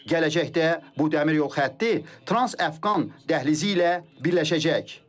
Gələcəkdə bu dəmir yol xətti trans-Əfqan dəhlizi ilə birləşəcək.